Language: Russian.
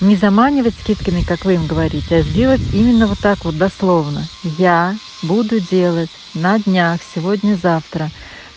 не заманивать скидками как вы им говорите а сделать именно вот так вот дословно я буду делать на днях сегодня-завтра